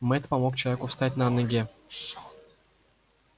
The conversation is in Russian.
мэтт помог человеку встать на ноги